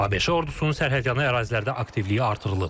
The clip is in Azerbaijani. ABŞ ordusunun sərhədyanı ərazilərdə aktivliyi artırılıb.